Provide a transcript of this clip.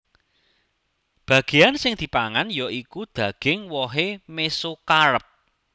Bagéyan sing dipangan ya iku daging wohé mesokarp